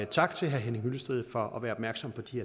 tak til herre henning hyllested for at være opmærksom på de